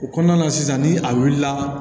O kɔnɔna na sisan ni a wulila